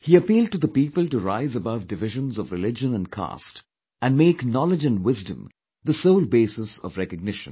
He appealed to the people to rise above divisions of religion & caste and make knowledge & wisdom the sole basis of recognition